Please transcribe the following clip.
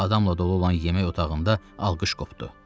Adamla dolu olan yemək otağında alqış qopdu.